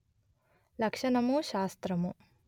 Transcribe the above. లక్షణము శాస్త్రము